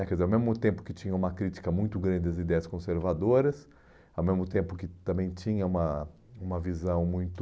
né, quer dizer, ao mesmo tempo que tinha uma crítica muito grande às ideias conservadoras, ao mesmo tempo que também tinha uma uma visão muito...